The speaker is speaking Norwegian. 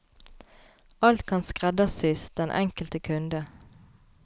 Alt kan skreddersys den enkelt kunde.